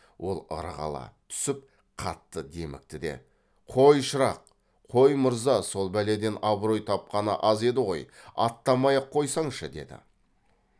ол ырғала түсіп қатты демікті де қой шырақ қой мырза сол бәледен абырой тапқаны аз еді ғой аттамай ақ қойсаңшы деді